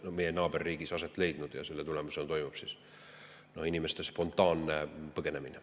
– on meie naaberriigis aset leidnud ja selle tulemusena toimub inimeste spontaanne põgenemine.